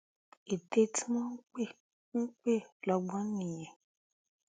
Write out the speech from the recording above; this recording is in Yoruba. ète tí wọn ń pè ń pè lọgbọn nìyẹn